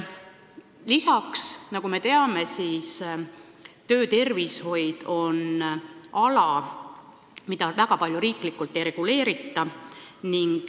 Lisaks, nagu me teame, töötervishoid on valdkond, mida väga palju riiklikult ei reguleerita.